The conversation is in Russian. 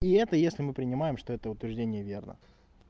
и это если мы принимаем что это утверждение верно